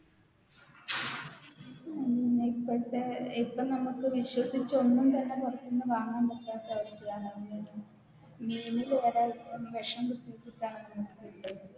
ഉം ഇപ്പഴത്തെ ഇപ്പം നമുക്ക് വിശ്വസിച്ചൊന്നും തന്നെ പൊറത്ത്ന്ന് വാങ്ങാൻ പറ്റാത്ത അവസ്ഥയാണ് മീനില് വരെ വെഷം കുത്തിവെച്ചിട്ടാണ് നമുക്ക് കിട്ടുന്നത്